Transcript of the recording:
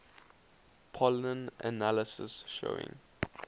pollen analysis showing